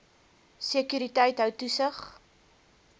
sekuriteit hou toesig